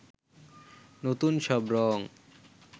নতুন সব রং